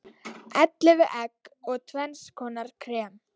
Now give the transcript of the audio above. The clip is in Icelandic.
Ellefu egg og tvenns konar krem.